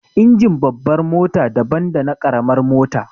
Injin babbar mota daban dana ƙaramar mota